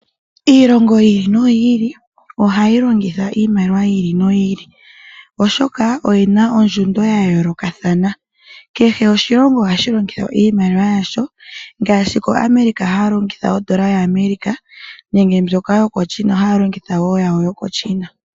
Iilongo yi ili noyi ili ohayi longitha iimaliwa yi ili noyi ili oshoka oyi na ondjundo ya yoolokathana. Kehe oshilongo ohashi longitha iimaliwa yasho ngaashi koAmerica haya longitha ondola yaAmerica nenge mbyoka yokoChina haya longitha wo yawo yokoChina.